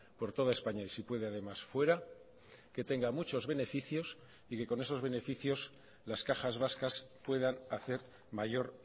por toda españa y si puede además fuera que tenga muchos beneficios y que con esos beneficios las cajas vascas puedan hacer mayor